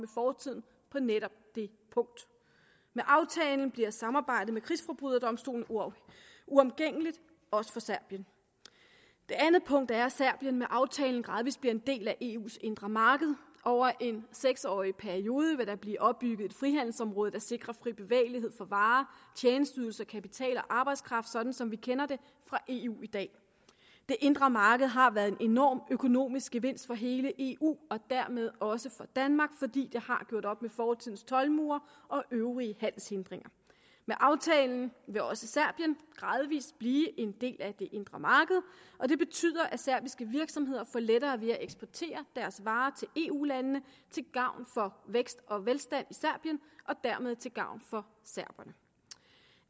fortiden på netop det punkt med aftalen bliver samarbejdet med krigsforbryderdomstolen uomgængeligt også for serbien det andet punkt er at serbien med aftalen gradvis bliver en del af eus indre marked over en seks årig periode vil der blive opbygget et frihandelsområde der sikrer fri bevægelighed for varer tjenesteydelser kapital og arbejdskraft sådan som vi kender det fra eu i dag det indre marked har været en enorm økonomisk gevinst for hele eu og dermed også for danmark fordi det har gjort op med fortidens toldmure og øvrige handelshindringer med aftalen vil også serbien gradvis blive en del af det indre marked og det betyder at serbiske virksomheder får lettere ved at eksportere deres varer til eu landene til gavn for vækst og velstand serbien og dermed til gavn for serberne